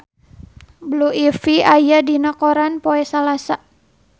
Blue Ivy aya dina koran poe Salasa